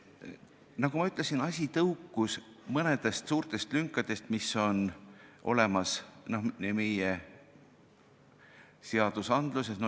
Nagu ma ütlesin, tõukus see asi mõningatest suurtest lünkadest, mis on meie seadustes.